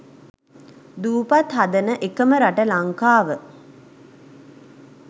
දූපත් හදන එකම රට ලංකාව